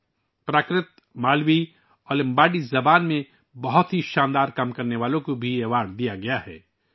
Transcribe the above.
یہ اعزاز ان لوگوں کو بھی دیا گیا ہے جنھوں نے پراکرت، مالوی اور لمباڈی زبانوں میں عمدہ کام کیا ہے